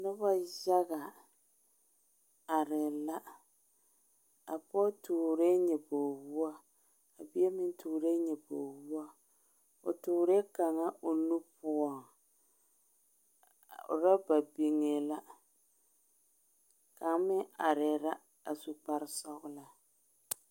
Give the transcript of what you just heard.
Noba yaga are la a pɔge tɔɔre nyobori wɔɔ a bie meŋ tɔɔre nyobori wɔɔ o tɔɔre kaŋa o nu poɔŋ ɔraba biŋɛ la kaŋ meŋ are la su kpare sɔglaa